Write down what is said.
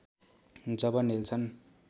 जब Nelson